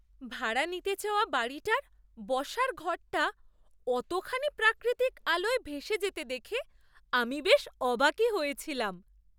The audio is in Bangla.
ভাড়া নিতে চাওয়া বাড়িটার বসার ঘরটা অতখানি প্রাকৃতিক আলোয় ভেসে যেতে দেখে আমি বেশ অবাকই হয়েছিলাম!